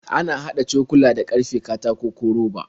Ana haɗa cokula da ƙarfe, katako, ko roba.